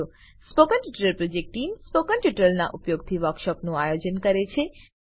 spoken tutorial project team spoken ટ્યુટોરીયલોનાં ઉપયોગથી વર્કશોપોનું આયોજન કરે છે